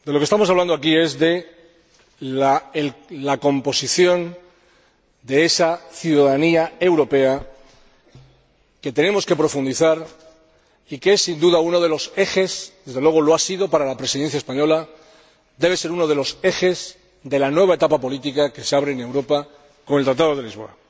De lo que estamos hablando aquí es de la composición de esa ciudadanía europea, que tenemos que profundizar y que es, sin duda, uno de los ejes —desde luego, lo ha sido para la Presidencia española— de la nueva etapa política que se abre en Europa con el Tratado de Lisboa.